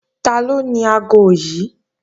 Taló ni aago yí?